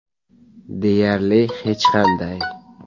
Deyarli hech qanday.